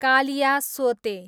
कालियासोते